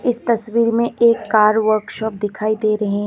इस तस्वीर में एक कार वर्कशॉप दिखाई दे रहे हैं।